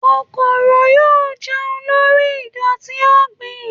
kòkòrò yóò jẹun lori idoti ọgbin.